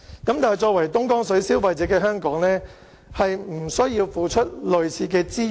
但是，作為東江水消費者的香港並不需要付出類似的資源。